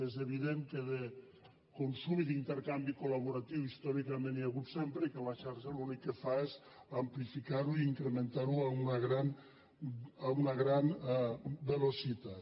és evident que de consum i d’intercanvi col·tòricament n’hi ha hagut sempre i que la xarxa l’únic que fa és amplificar ho i incrementar ho a una gran velocitat